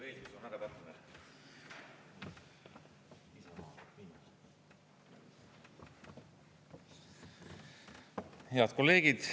Head kolleegid!